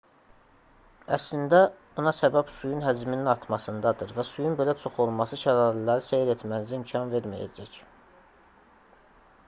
əslində buna səbəb suyun həcminin artmasındadır və suyun belə çox olması şəlalələri seyr etmənizə imkan verməyəcək